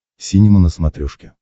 синема на смотрешке